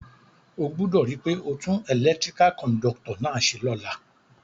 O gbúdò ri pe o tun electrical conductor náà se lóla